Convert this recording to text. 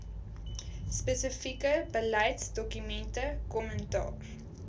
spesifieke beleidsdokumente kommentaar